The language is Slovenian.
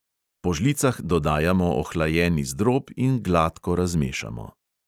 Po žlicah dodajamo ohlajeni zdrob in gladko razmešamo.